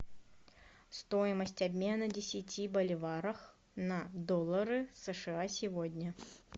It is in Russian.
стоимость обмена десяти боливаров на доллары сша сегодня